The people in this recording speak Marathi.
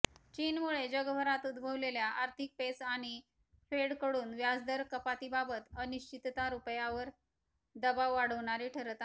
चीनमुळे जगभरात उद्भवलेल्या आर्थिक पेच आणि फेडकडून व्याजदर कपातीबाबत अनिश्चितता रुपयावर दबाव वाढवणारी ठरत आहे